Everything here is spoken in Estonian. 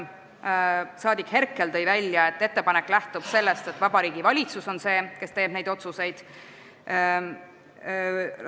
Saadik Herkel tõi välja, et ettepanek lähtub sellest, et Vabariigi Valitsus on see, kes neid otsuseid teeb.